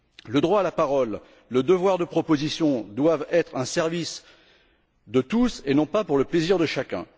Le droit à la parole, le devoir de proposition doivent être un service de tous et non pas pour le plaisir de chacun.